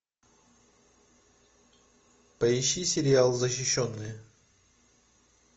поищи сериал защищенные